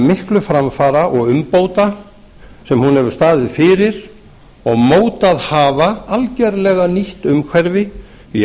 miklu framfara og umbóta sem hún hefur staðið fyrir og mótað hafa algerlega nýtt umhverfi í